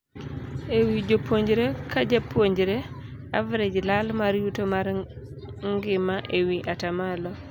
Ewii japuonjre ka japuonjre average lal mar yuto mar ngima ewii ataa malo.